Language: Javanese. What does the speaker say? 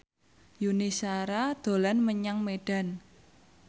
Yuni Shara dolan menyang Medan